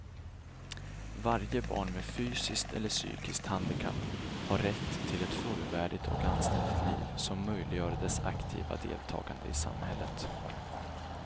Varje barn med fysiskt eller psykiskt handikapp har rätt till ett fullvärdigt och anständigt liv som möjliggör dess aktiva deltagande i samhället.